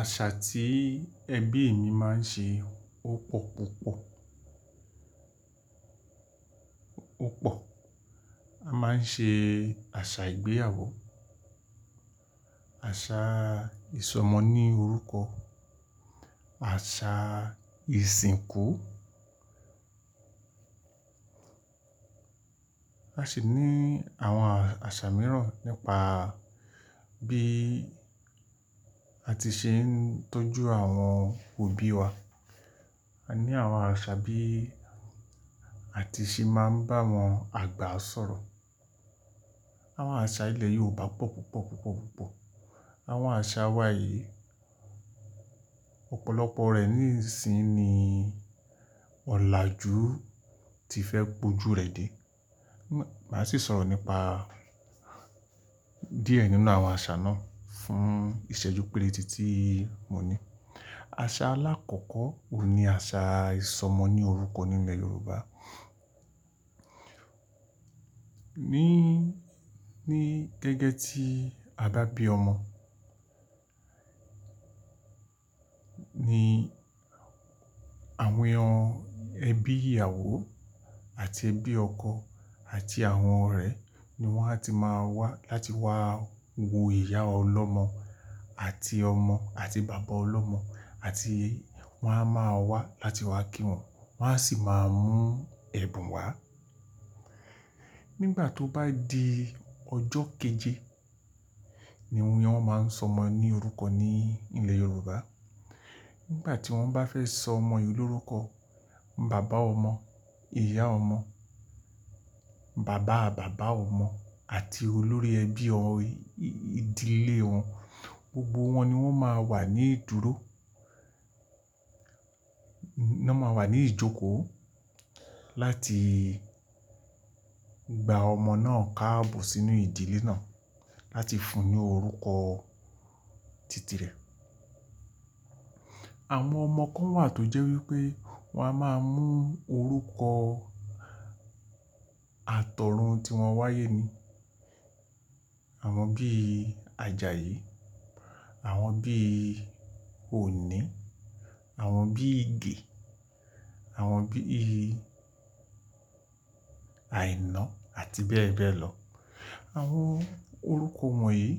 Àṣà tí ẹbí mi máa ń ṣe ó pọ̀ púpọ̀. Ó pọ̀. A máa ń ṣe àṣà ìgbéyàwó, àṣà ìsọmọ ní orúkọ, àṣà ìsìnkú. A sì ní àwọn àṣà mìíràn nípa bí a ti ṣe ń tọ́jú àwọn òbí wa. A ní àwọn àṣà bí a ti ṣe máa ń bá àwọn àgbà sọ̀rọ̀. Àwọn àṣà ilẹ̀ Yorùbá pọ̀ púpọ̀, púpọ̀, púpọ̀. Àwọn àṣà wa yìí, ọ̀pọ̀lọpọ̀ rẹ̀ nísìí ni ọ̀làjú ti fẹ́ pojú rẹ̀ dé. Màá sì sọ̀rọ̀ nípa díẹ̀ nínú àwọn àṣà náà fún ìṣẹ́jú pérété ti mo ní. Àṣà alákọ̀ọ́kọ́ òun ni àṣà ìsọmọ ní orúkọ ní ilẹ̀ Yorùbá. Ni, ni gẹ́gẹ́ tí a bá bí ọmọ, ni àwọn ẹbí ìyàwó àti ẹbí ọkọ àti àwọn ọ̀rẹ́ ni wọ́n á ti máa wá láti wá wo ìyá ọlọ́mọ àti ọmọ àti bàbá ọlọ́mọ àti wọ́n á máa wá láti wá kí wọn, wọ́n á sì máa mú ẹ̀bùn wá. Nígbà tó bá di ọjọ́ keje ni wọ́n máa ń sọ ọmọ ní orúkọ ní ilẹ̀ Yorùbá. Nígbà tí wọ́n bá fẹ́ sọ ọmọ yìí lórúkọ, bàbá ọmọ, ìyá ọmọ, bàbá bàbá ọmọ àti olórí ẹbí ọ, ìdílé wọn gbogbo wọn ni wọ́n máa wà ní ìdúró. Na máa wà ní ìjókòó láti gba ọmọ náà káàbọ̀ sínú ìdílé náà láti fún un ní orúkọ titi rẹ̀. Àwọn ọmọ kan wà tó jẹ́ wípé wọ́n á máa mú orúkọ àtọ̀run tí wọ́n wáyé ni. Àwọn bí Àjàyí, àwọn bí Òní, àwọn bí Ige, àwọn bí Aìná àti bẹ́ẹ̀ bẹ́ẹ̀ lọ. Àwọn orúkọ wọ̀nyí